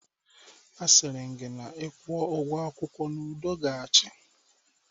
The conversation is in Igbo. Asịrị m gị na ị kwuo ugwo akwụkwọ n'udo ga-achị